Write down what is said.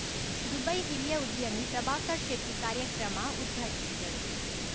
Dubai ಹಿರಿಯ ಉದ್ಯಮಿ ಪ್ರಭಾಕರ್‌ ಶೆಟ್ಟಿಕಾರ್ಯಕ್ರಮ ಉದ್ಘಾಟಿಸಿದರು